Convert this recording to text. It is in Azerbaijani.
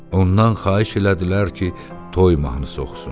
Ondan xahiş elədilər ki, toy mahnısı oxusun.